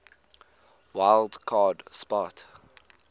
wild card spot